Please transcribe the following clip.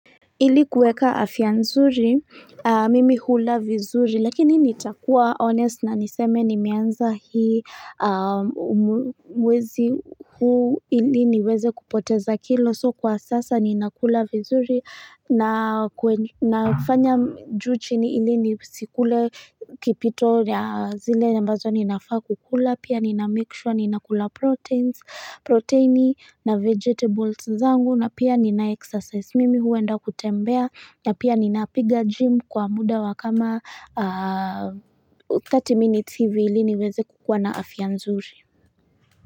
Ili kueka afia nzuri, mimi hula vizuri, lakini nitakuwa honest na niseme nimeanza hii mwezi huu ili niweze kupoteza kilo. So kwa sasa ninakula vizuri na kufanya ju chini ili nisikule kipito ya zile ambazo ninafaa kukula. Pia ni na make sure ninakula proteins, proteini na vegetables zangu na pia nina exercise. Mimi huenda kutembea na pia ninapiga jim kwa muda wa kama 30 minutes hivi ili niweze kukuwa na afia nzuri.